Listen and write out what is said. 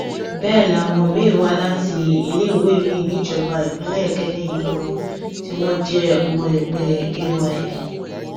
bẹẹ làwọn miín wá láti iléèwé miín níjọba ìbílẹ ikẹne yìí kan náà tí wọn jẹ ọmọ ẹgbẹ ayn